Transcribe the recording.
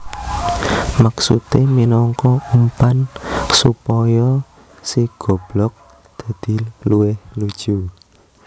Maksudé minangka umpan supaya si goblog dadi luwih lucu